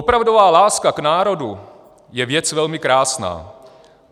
"Opravdová láska k národu je věc velmi krásná.